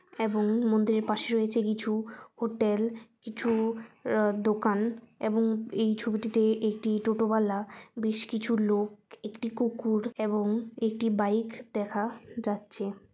এবং মন্দিরের পাশে রয়েছে কিছু হোটেল কিছু আ- দোকান এবং এই ছবিটিতে একটি টোটো বালা বেশ কিছু লোক একটি কুকুর এবং একটি বাইক দেখা যাচ্ছে।